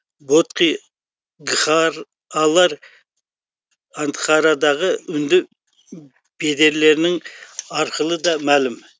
бодхи гхар алар андхарадағы үнді ббедерлері арқылы да мәлім